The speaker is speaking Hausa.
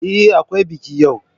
Ehh, Akwai biki yau.